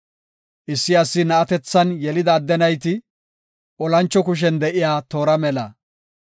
Issi asi na7atethan yelida adde nayti, olancho kushen de7iya toora mela.